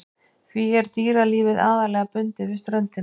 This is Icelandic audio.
Því er dýralífið aðallega bundið við ströndina.